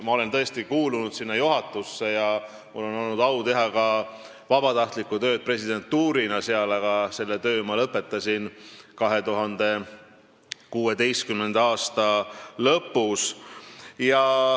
Ma olen tõesti kuulunud selle juhatusse ja mul on olnud au teha ka vabatahtlikku tööd presidendina, aga selle töö ma lõpetasin 2016. aasta lõpus.